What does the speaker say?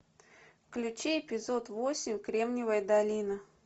включи эпизод восемь кремниевая долина